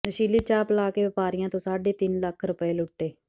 ਨਸ਼ੀਲੀ ਚਾਹ ਪਿਲਾ ਕੇ ਵਪਾਰੀਆਂ ਤੋਂ ਸਾਢੇ ਤਿੰਨ ਲੱਖ ਰੁਪਏ ਲੁੱਟੇ